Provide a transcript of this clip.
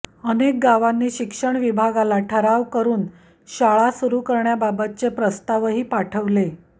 अनेक गावांनी शिक्षण विभागाला ठराव करून शाळा सुरू करण्याबाबतचे प्रस्तावही पाठविले